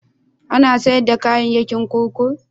Ana sayar da kayayyaki a kurkuku?